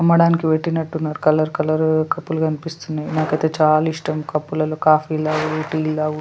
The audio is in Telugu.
అమ్మడానికి పెట్టినట్టున్నారు కలర్ కలర్ కప్పులు కనిపిస్తున్నాయి నాకైతే చాలా ఇష్టం కప్పుల లో కాఫీలు తాగుడు తే తాగుడు